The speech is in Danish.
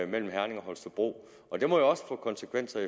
mellem herning og holstebro og det må jo også få konsekvenser